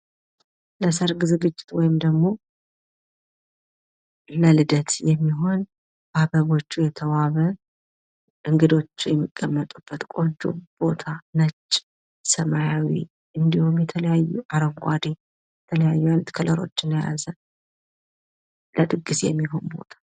ለሰርግ ዝግጅት ወይም ደሞ ለልደት የሚሆን በአበቦች የተዋበ እንግዶች የሚቀመጡበት ቆንጆ ቦታ ነጭ፥ ሰማያዊ ፥እንዲሁም የተለያዩ አረንጓዴ የተለያዩ አይነት ከለሮችን የያዘ ለድግስ የሚሆን ቦታ።